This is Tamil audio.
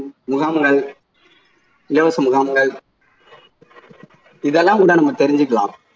முகாம்கள் இலவச முகாம்கள் இதெல்லாம் கூட நம்ம தெரிஞ்சுக்கலாம்